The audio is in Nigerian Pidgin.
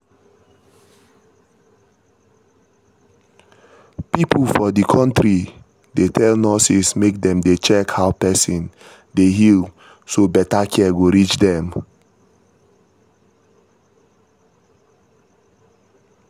people for the country dey tell nurses make dem dey check how person dey heal so better care go reach dem